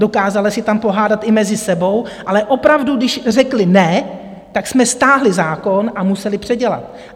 Dokázali se tam pohádat i mezi sebou, ale opravdu, když řekli ne, tak jsme stáhli zákon a museli předělat.